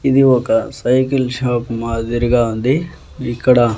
ఇది ఒక cycle shop మాదిరిగా ఉంది ఇక్కడ.